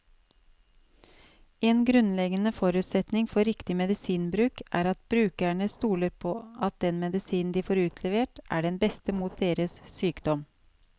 En grunnleggende forutsetning for riktig medisinbruk er at brukerne stoler på at den medisinen de får utlevert, er den beste mot deres sykdom.